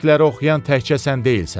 Stoikləri oxuyan təkcə sən deyilsən.